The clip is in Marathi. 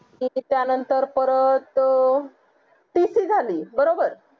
त्या नतंर परत अं tc झाली बरोबर